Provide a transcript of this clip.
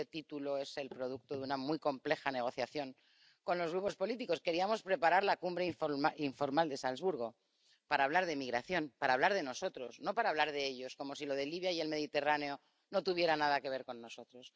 Este título es el producto de una muy compleja negociación con los grupos políticos. Queríamos preparar la cumbre informal de Salzburgo para hablar de migración, para hablar de nosotros, no para hablar de ellos como si lo de Libia y el Mediterráneo no tuviera nada que ver con nosotros.